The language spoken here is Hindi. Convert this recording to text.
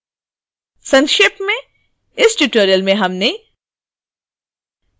संक्षेप में इस ट्यूटोरियल में हमने